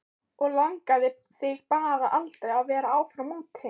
Og langaði þig bara aldrei að vera áfram úti?